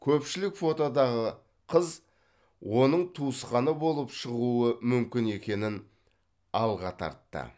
көпшілік фотодағы қыз оның туысқаны болып шығуы мүмкін екенін алға тартты